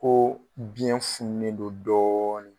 Ko biɲɛ fununen don dɔɔni.